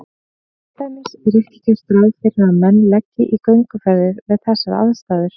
Til dæmis er ekki gert ráð fyrir að menn leggi í gönguferðir við þessar aðstæður.